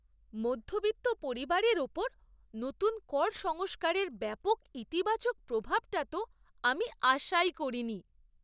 মধ্যবিত্ত পরিবারের ওপর নতুন কর সংস্কারের ব্যাপক ইতিবাচক প্রভাবটা তো আমি আশাই করিনি।